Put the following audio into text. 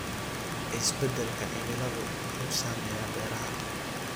Isbeddelka cimiladu wuxuu saameeyaa beeraha.